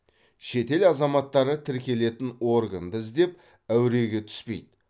шетел азаматтары тіркелетін органды іздеп әуреге түспейді